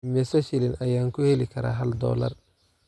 Immisa shilin ayaan ku heli karaa hal dollar?